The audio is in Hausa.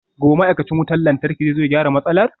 Gobe ​​ma'aikacin wutar lantarki zai zo ya gyara matsalar?